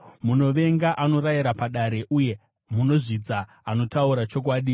munovenga anorayira padare uye munozvidza anotaura chokwadi.